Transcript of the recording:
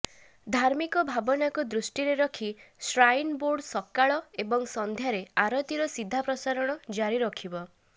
ଧାର୍ମିକ ଭାବନାକୁ ଦୃଷ୍ଟିରେ ରଖି ଶ୍ରାଇନ୍ ବୋର୍ଡ ସକାଳ ଏବଂ ସନ୍ଧ୍ୟାରେ ଆରତୀର ସିଧା ପ୍ରସାରଣ ଜାରି ରଖିବ